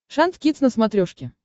шант кидс на смотрешке